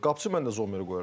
Qapıçı mən də Zommeri qoyaram.